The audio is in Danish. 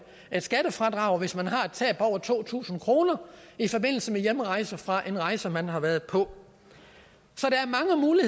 skattefradrag hvis man har et tab på over to tusind kroner i forbindelse med hjemrejse fra en rejse man har været på